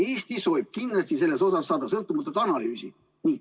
Eesti soovib kindlasti saada selle kohta sõltumatut analüüsi.